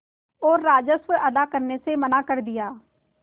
और राजस्व अदा करने से मना कर दिया